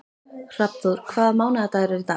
Hrafnþór, hvaða mánaðardagur er í dag?